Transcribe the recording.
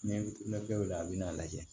N'i bɛ la a bɛ n'a lajɛ